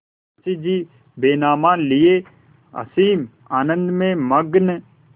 मुंशीजी बैनामा लिये असीम आनंद में मग्न